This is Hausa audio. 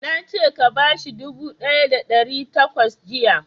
Na ce ka bashi dubu ɗaya da ɗari takwas jiya!